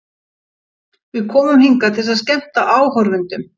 Við komum hingað til að skemmta áhorfendum.